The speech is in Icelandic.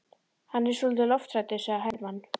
Hann er svolítið lofthræddur, sagði Hermann.